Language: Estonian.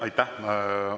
Aitäh!